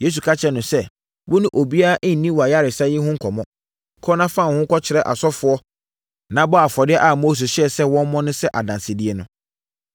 Yesu ka kyerɛɛ no sɛ, “Wo ne obiara nni wʼayaresa yi ho nkɔmmɔ. Kɔ na fa wo ho kɔkyerɛ ɔsɔfoɔ, na bɔ afɔdeɛ a Mose hyɛɛ sɛ wɔmmɔ sɛ adansedie no.”